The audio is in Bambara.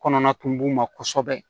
Kɔnɔna kun b'u ma kosɛbɛ